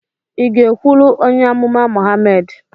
ị ga-ekwụlụ onye amụma Mohammed?